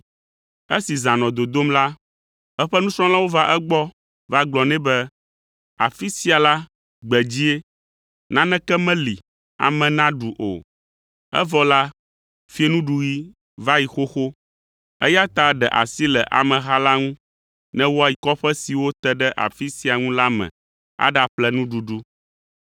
Esi zã nɔ dodom la, eƒe nusrɔ̃lawo va egbɔ va gblɔ nɛ be, “Afi sia la, gbedzie; naneke meli ame naɖu o, evɔ la, fiẽnuɖuɣi va yi xoxo, eya ta ɖe asi le ameha la ŋu ne woayi kɔƒe siwo te ɖe afi sia ŋu la me aɖaƒle nuɖuɖu.”